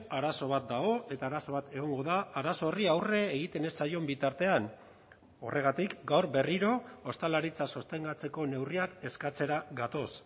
arazo bat dago eta arazo bat egongo da arazo horri aurre egiten ez zaion bitartean horregatik gaur berriro ostalaritza sostengatzeko neurriak eskatzera gatoz